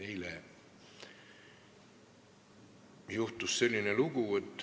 Eile juhtus selline lugu.